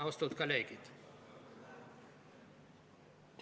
Austatud kolleegid!